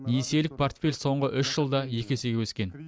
несиелік портфель соңғы үш жылда екі есеге өскен